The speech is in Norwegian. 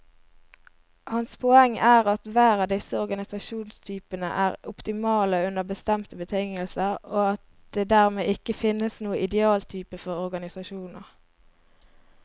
Hans poeng er at hver av disse organisasjonstypene er optimale under bestemte betingelser, og at det dermed ikke finnes noen idealtype for organisasjoner.